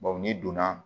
n'i donna